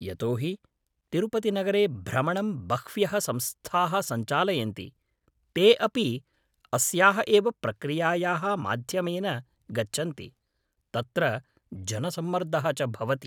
यतो हि तिरुपतिनगरे भ्रमणं बह्व्यः संस्थाः सञ्चालयन्ति, ते अपि अस्याः एव प्रक्रियायाः माध्यमेन गच्छन्ति, तत्र जनसम्मर्दः च भवति।